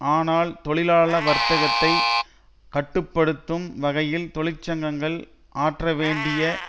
ஆனால் தொழிலாள வர்த்தகத்தை கட்டு படுத்தும் வகையில் தொழிற்சங்கங்கள் ஆற்ற வேண்டிய